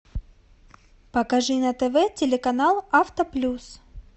покажи на тв телеканал авто плюс